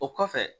O kɔfɛ